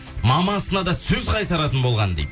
мамасына да сөз қайтаратын болған дейді